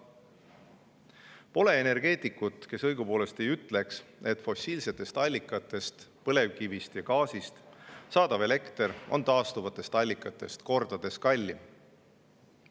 Pole õigupoolest energeetikut, kes ei ütleks, et fossiilsetest allikatest – põlevkivist ja gaasist – saadav elekter on taastuvatest allikatest kordades kallim.